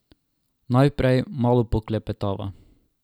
Najprej malo poklepetava.